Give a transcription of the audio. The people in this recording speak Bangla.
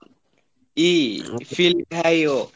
Korean